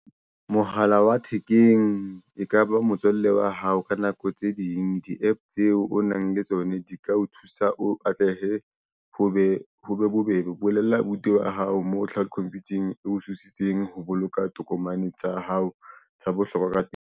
Mohala wa thekeng e kaba motswalle wa hao ka nako tse ding di-app tseo o nang le tsona di ka o thusa o atlehe ho be ho be bobebe. O bolella abuti wa hao mo Cloud Computer-eng e o thusitseng ho boloka tokomane tsa hao tsa bohlokwa .